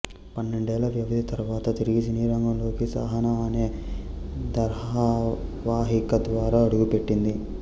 పన్నెండేళ్ళ వ్యవధి తర్వాత తిరిగి సినీరంగంలో సహానా అనే ధారావాహిక ద్వారా అడుగుపెట్టింది